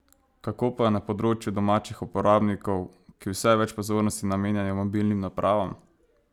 Kako pa je na področju domačih uporabnikov, ki vse več pozornosti namenjajo mobilnim napravam?